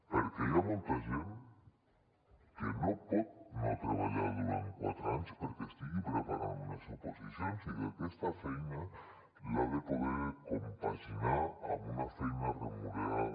perquè hi ha molta gent que no pot no treballar durant quatre anys perquè estigui preparant unes oposicions i que aquesta feina l’ha de poder compaginar amb una feina remunerada